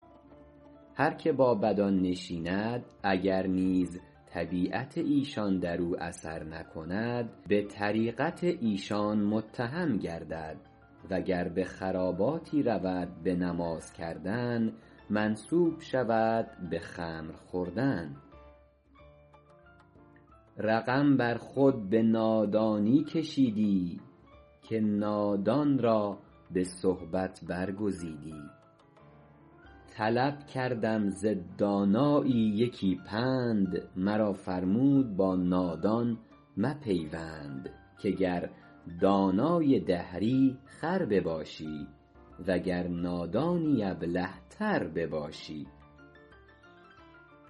هر که با بدان نشیند اگر نیز طبیعت ایشان در او اثر نکند به طریقت ایشان متهم گردد و گر به خراباتی رود به نماز کردن منسوب شود به خمر خوردن رقم بر خود به نادانی کشیدی که نادان را به صحبت برگزیدی طلب کردم ز دانایی یکی پند مرا فرمود با نادان مپیوند که گر دانای دهری خر بباشی وگر نادانی ابله تر بباشی